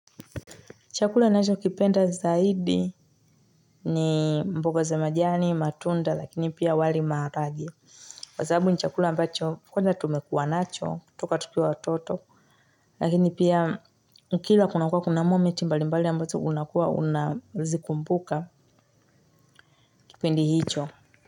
Chakula ninacho kipenda zaidi ni mboga za majani, matunda, lakini pia wali maharagwe Kwa sababu ni chakula ambacho kwanza tumekua nacho, toka tukiwa watoto, lakini pia ukila kunakua kuna moment mbali mbali ambazo unakua unazikumbuka kipindi hicho.